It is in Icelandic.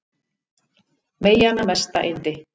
Meyjanna mesta yndi